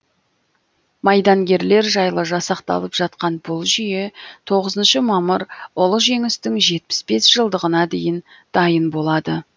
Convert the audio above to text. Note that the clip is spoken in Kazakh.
майдангерлер жайлы жасақталып жатқан бұл жүйе тоғызыншы мамыр ұлы жеңістің жетпіс бес жылдығына дейін дайын болады